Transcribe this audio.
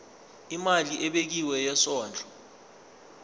imali ebekiwe yesondlo